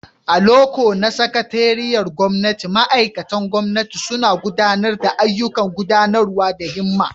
A loko na sakatariyar gwamnati, ma'aikatan gwamnati suna gudanar da ayyukan gudanarwa da himma.